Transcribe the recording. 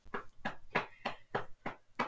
En þarna gerðum við stuttan stans